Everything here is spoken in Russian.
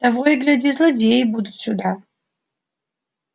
того и гляди злодеи будут сюда